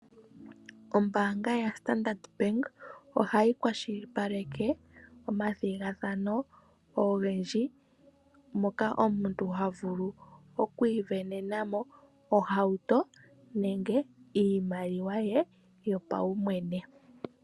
Ombaanga yoStandard Bank ohayi kwashilipaleka omathigathano ogendji moka omuntu havulu okusindanamo ohauto nenge iimaliwa ye yopawumwene.